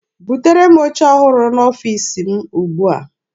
Butere m oche ọhụrụ n'ọfiisi m ugbua!